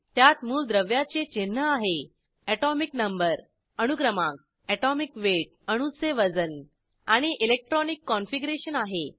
त्यात मूलद्रव्याचे चिन्ह आहे एटोमिक नंबर अणुक्रमांक एटोमिक वेट अणूचे वजन आणि इलेक्ट्रॉनिक कॉनफिगरेशन आहे